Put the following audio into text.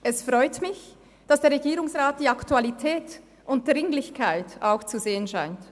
Es freut mich, dass der Regierungsrat die Aktualität und Dringlichkeit auch zu sehen scheint.